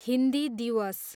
हिन्दी दिवस